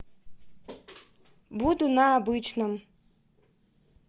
буду на обычном